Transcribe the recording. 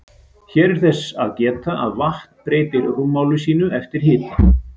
Hér er þess fyrst að geta að vatn breytir rúmmáli sínu eftir hita.